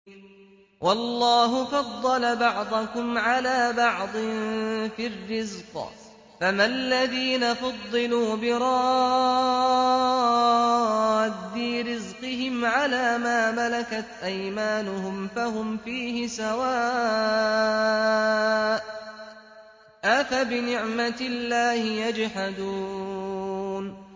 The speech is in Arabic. وَاللَّهُ فَضَّلَ بَعْضَكُمْ عَلَىٰ بَعْضٍ فِي الرِّزْقِ ۚ فَمَا الَّذِينَ فُضِّلُوا بِرَادِّي رِزْقِهِمْ عَلَىٰ مَا مَلَكَتْ أَيْمَانُهُمْ فَهُمْ فِيهِ سَوَاءٌ ۚ أَفَبِنِعْمَةِ اللَّهِ يَجْحَدُونَ